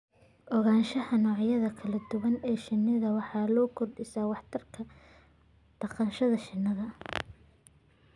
Ogaanshaha noocyada kala duwan ee shinida waxay kordhisaa waxtarka dhaqashada shinnida.